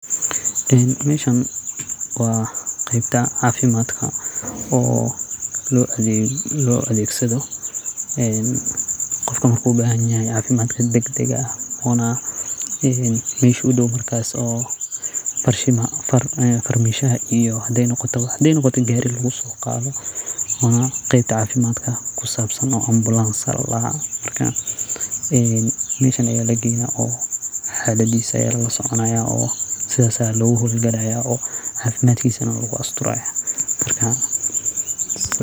Meeshan wa qeybta cafimadka oo lo adegsado qofka marku ubahan yahay cafimad dhag dhag ah ona meeesha udow markas farmishaha iyo hadey noqoto in gari lugusoqado wana qeyb cafimad kusabsan oo ambulans aya ladaha oo meeshan aya lageyna oo xaladisa aya lalasoconaya oo sidas aya luguhowgalaya oo cafimadkisa lalasoconaya.